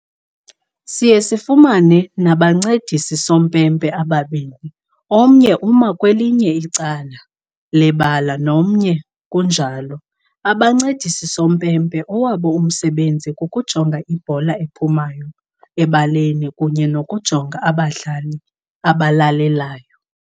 Siye sifumane nabancedisi sompempe ababini, omnye uma kwelinye icala lebala nomnye kunjalo. Abancedisi sompempe owabo umsebenzi kuku jonga ibhola ephumayo ebaleni kunye nokunjonga abadlali abalalelayo.